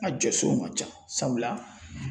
N ka jɔsenw ka ca sabula